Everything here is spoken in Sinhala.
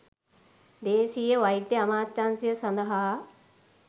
දේශීය වෛද්‍ය අමාත්‍යාංශය සඳහා